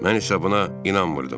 Mən isə buna inanmırdım.